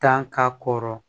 Tan ka kɔrɔ